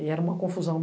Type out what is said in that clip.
E era uma confusão.